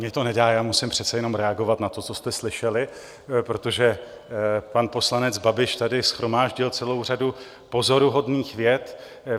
Mně to nedá, já musím přece jenom reagovat na to, co jste slyšeli, protože pan poslanec Babiš tady shromáždil celou řadu pozoruhodných vět.